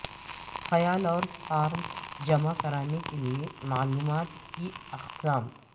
خیال اور فارم جمع کرانے کے لئے معلومات کی اقسام